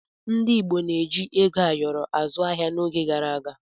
Ndi igbo na-eji ego ayọrọ azụ ahịa n'oge gara aga